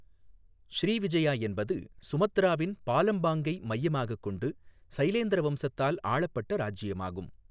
Srivijaya என்பது சுமத்ராவின் பாலெம்பாங்கை மையமாகக் கொண்டு சைலேந்திர வம்சத்தால் ஆளப்பட்ட ராஜ்ஜியமாகும்.